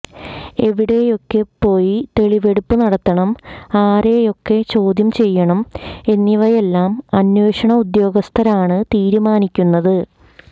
എവിടെയൊക്കെപ്പോയി തെളിവെടുപ്പ് നടത്തണം ആരെയൊക്കെ ചോദ്യം ചെയ്യണം എന്നിവയെല്ലാം അന്വേഷണ ഉദ്യോഗസ്ഥരാണ് തീരുമാനിക്കുന്നത്